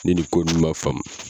Ni nin ko ninnu man faamu